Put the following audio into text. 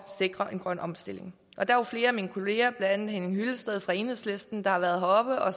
sikre en grøn omstilling flere af mine kollegaer blandt henning hyllested fra enhedslisten har været heroppe og